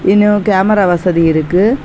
இன்னோ கேமரா வசதி இருக்கு.